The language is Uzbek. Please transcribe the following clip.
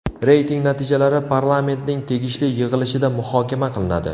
Reyting natijalari Parlamentning tegishli yig‘ilishida muhokama qilinadi.